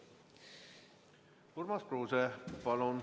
Urmas Kruuse, palun!